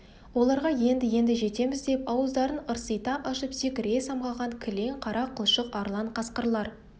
оларға енді-енді жетеміз деп ауыздарын ырсита ашып секіре самғаған кілең қара қылшық арлан қасқырлар